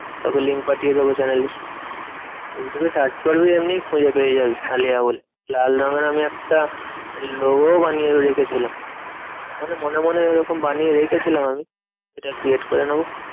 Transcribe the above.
তোকে link পাঠিয়ে দেব channel এর ইউটিউবে search করবি এমনি খুঁজে পেয়েযাবি আলেয়া বলে। লাল রঙের আমি একটা logo ও বানিয়ে রেখেছিলাম। মানে মনে মনে ওইরকম বানিয়ে রেখেছিলাম আমি। সেটা create করে নেবো।